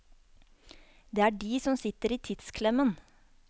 Det er de som sitter i tidsklemmen.